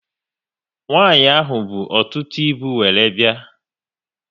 Nwanyi ahụ bụ ọtụtụ ịbụ wéré bịa